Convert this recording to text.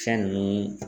Fɛn ni